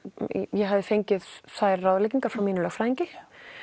ég hafði fengið þær ráðleggingar frá mínum lögfræðingi